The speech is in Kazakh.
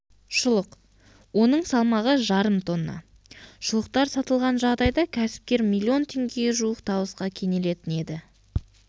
шұлық оның салмағы жарым тонна шұлықтар сатылған жағдайда кәсіпкер миллион теңгеге жуық табысқа кенелетін еді